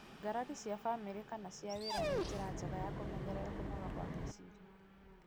ngarari cia bamĩrĩ kana cia wĩra, nĩ njĩra njega ya kũmenyerera kũnoga kwa meciria.